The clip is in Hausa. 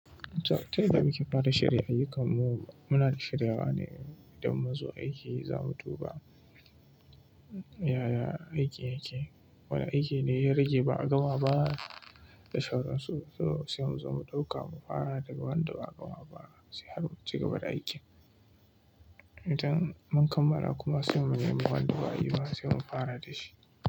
Ta yadda muke fara shirya ayyukanmu? Muna da shiryawa ne idan muzo aiki za mu duba yaya aiki yake. Wane aiki ne ya rage ba'a gama ba. Da shauransu, sai mu zo mu ɗauka mu fara daga wanda ba'a gama ba sai har mu ci gaba da aikin. Idan mun kammala kuma, sai mu nemi wanda ba'a yi ba sai mu fara da shi.